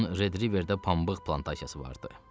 Onun Redriverdə pambıq plantasiyası vardı.